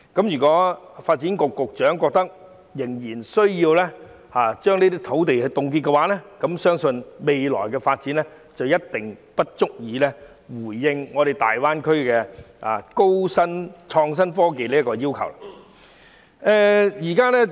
如果發展局局長認為仍然需要凍結這些土地，相信未來的發展一定不足以應付大灣區的創新科技要求。